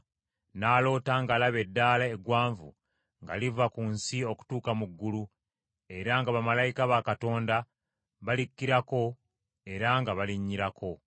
N’aloota ng’alaba eddaala eggwanvu nga liva ku nsi okutuuka mu ggulu, era nga bamalayika ba Katonda balikkirako era nga balinnyirako,